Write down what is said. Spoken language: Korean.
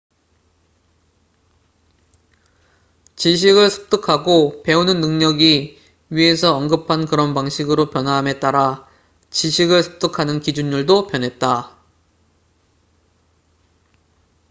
지식을 습득하고 배우는 능력이 위에서 언급한 그런 방식으로 변화함에 따라 지식을 습득하는 기준율도 변했다